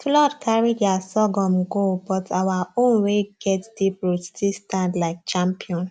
flood carry their sorghum go but our own wey get deep root still stand like champion